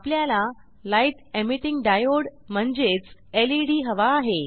आपल्याला light emitting diode म्हणजेच LED हवा आहे